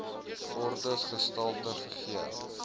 ordes gestalte gegee